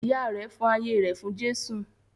Ìyá rẹ̀ fi ayé rẹ̀ fún Jésù.